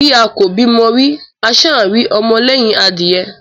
Bí a kò bímọ rí, a ṣáà ń rọ́mọ lẹ́hìn adìẹ?